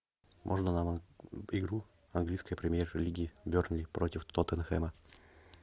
можно нам игру английской премьер лиги бернли против тоттенхэма